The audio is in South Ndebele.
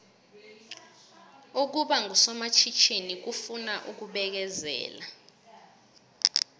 ukuba ngusomatjhithini kufuna ukubekezela